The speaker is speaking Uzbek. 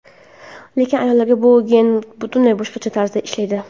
Lekin ayollarda bu gen butunlay boshqacha tarzda ishlaydi.